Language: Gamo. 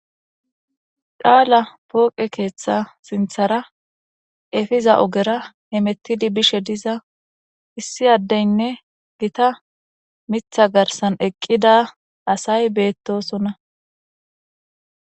qaala pooqe keeththa sinthara efiza ogera hemettidi bishe diza issi addeynne gita mitha garsan eqqida asay beettosona